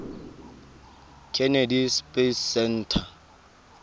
kennedy space center